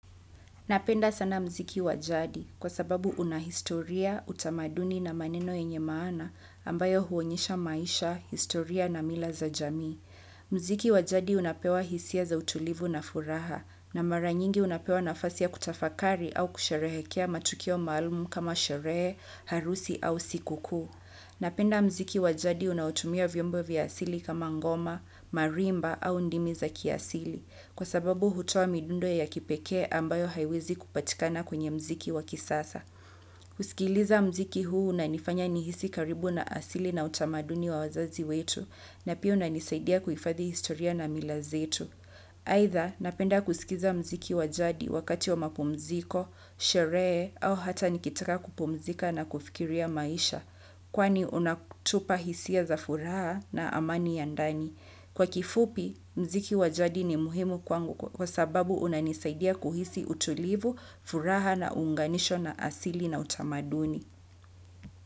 Napenda sana mziki wa jadi kwa sababu una historia, utamaduni na maneno yenye maana ambayo huonyesha maisha, historia na mila za jamii. Mziki wa jadi unapewa hisia za utulivu na furaha na mara nyingi unapewa nafasi ya kutafakari au kusheherekea matukio maalumu kama sherehe, harusi au sikukuu. Napenda mziki wa jadi unaotumia vyombo vya asili kama ngoma, marimba au ndimi za kiasili kwa sababu hutoa midundo ya kipekee ambayo haiwezi kupatikana kwenye mziki wa kisasa. Kusikiliza mziki huu unanifanya nihisi karibu na asili na utamaduni wa wazazi wetu na pia unanisaidia kuhifadhi historia na mila zetu. Aidhaa, napenda kusikiza mziki wa jadi wakati wa mapumziko, sherehe au hata nikitaka kupumzika na kufikiria maisha, kwani unatupa hisia za furaha na amani ya ndani. Kwa kifupi, mziki wa jadi ni muhimu kwa sababu unanisaidia kuhisi utulivu, furaha na unganisho na asili na utamaduni.